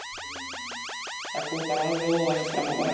Það kom bara alveg óvart fram á varirnar.